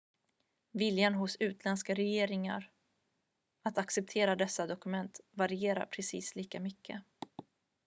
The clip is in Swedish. viljan hos utländska regeringar att acceptera dessa dokument varierar precis lika mycket